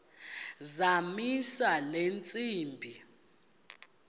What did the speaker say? zamisa le ntsimbi